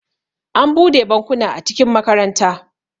an bude bankuna a cikin makaranta